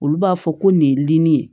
Olu b'a fɔ ko nin ye limin ye